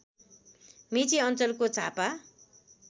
मेची अञ्चलको झापा